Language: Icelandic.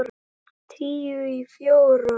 Tíu í fjórar.